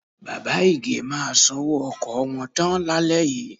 Bàbá Ìgè máa sanwó ọkọ̀ wọn tán lálẹ́ yìí.